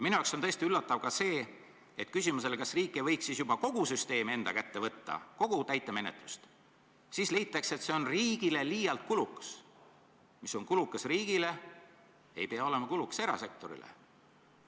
Minu arvates on tõesti üllatav ka see, et küsimusele, kas riik ei võiks siis juba kogu süsteemi, kogu täitemenetlust enda kätte võtta, vastatakse, et see on riigile liialt kulukas, et mis on kulukas riigile, ei pea olema kulukas erasektorile.